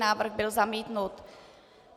Návrh byl zamítnut.